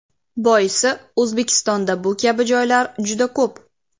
Boisi O‘zbekistonda bu kabi joylar juda ko‘p.